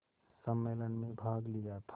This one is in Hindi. सम्मेलन में भाग लिया था